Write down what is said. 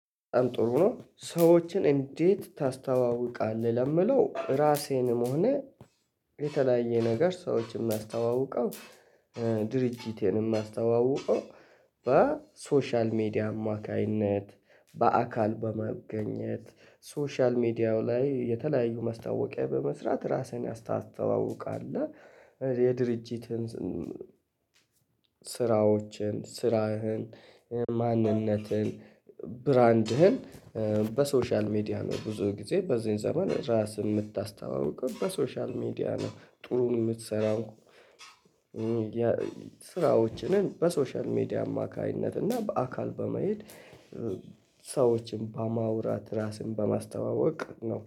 ጥሩ ነው ሰዎችን እንዴት ታስተዋውቃለህ? ለሚለው ራሴንም ሆነ የተለያየ ነገር ሰዎችን የማስተዋውቀው ድርጅቴን የማስተዋውቀው በሶሻል ሚዲያ አማካኝነት በአካል በመግኘት። ሶሻል ሚዲያው ላይ የተለያዩ ማስታወቂያ በመስራት ራስህን ያስ ታስተዋውቃለህ። የድርጅትን ስራዎችን ስራህን ማንነትህን ብራንድህን በሶሻል ሚዲያ ነው ብዙ ጊዜ በዚህን ዘመን ራስን የምታስታውቀው በሶሻል ሚዲያ ነው። ጥሩ የምትሠራው ስራዎችንም በሶሻል ሚዲያ አማካኝነት እና በአካል በመሄድ ሰዎችን በማውራት ራስን በማስተዋወቅ ነው